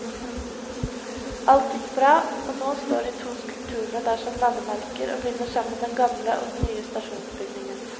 Alt gikk bra, og nå står de to skulpturene der som landemerker og binder sammen den gamle og den nye stasjonsbygningen.